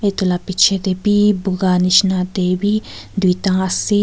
etu laga piche tebhi boga jisna tebhi duita ase.